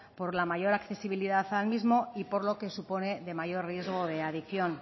por la mayor accesibilidad al mismo y por lo que supone de mayor riesgo de adicción